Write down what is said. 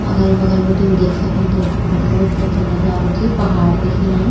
अगल बगल बटिन देख सकन तुम कु खूब भौत ही अच्छा नजारु च पहाड़ दिख्येणा।